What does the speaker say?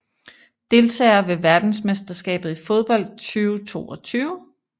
Deltagere ved verdensmesterskabet i fodbold 2022